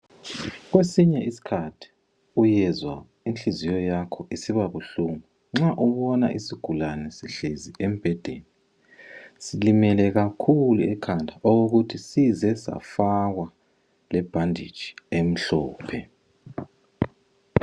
Kwesinye isikhathi, uyezwa inhliziyo yakho isiba buhlungu. Nxa ubona isigulane sihlezi embhedeni. Silimele kakhulu ekhanda. Okokuthi size safakwa lebhanditshi emhlophe.